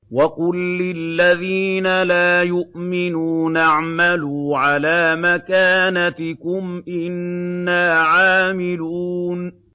وَقُل لِّلَّذِينَ لَا يُؤْمِنُونَ اعْمَلُوا عَلَىٰ مَكَانَتِكُمْ إِنَّا عَامِلُونَ